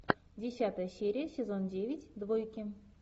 десятая серия сезон девять двойки